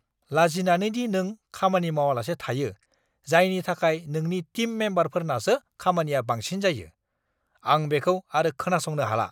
लाजिनानै दि नों खामानि मावालासे थायो, जायनि थाखाय नोंनि टिम मेम्बारफोरनासो खामानिया बांसिन जायो, आं बेखौ आरो खोनासंनो हाला!